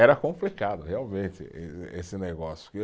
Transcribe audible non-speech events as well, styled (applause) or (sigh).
Era complicado, realmente, ê esse negócio. (unintelligible)